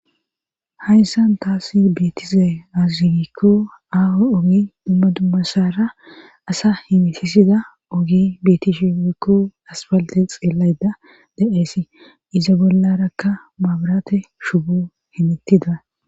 hayssan taasi beetiza azigikko aawo ogi dumma dummasara asa himisisida ogi betishimkko asfalte xiellayda da7eesi iza bollarakka maabarate shubo himittida